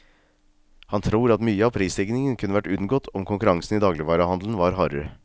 Han tror at mye av prisstigningen kunne vært unngått om konkurransen i dagligvarehandelen var hardere.